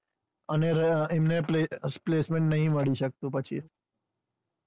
અને રહ્યા એમને પઃ placement નથી મળી શકતું.